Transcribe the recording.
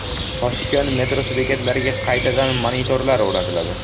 Toshkent metrosi bekatlariga qaytadan monitorlar o‘rnatiladi.